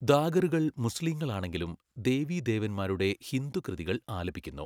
ദാഗറുകൾ മുസ്ലീങ്ങളാണെങ്കിലും ദേവീദേവന്മാരുടെ ഹിന്ദു കൃതികൾ ആലപിക്കുന്നു.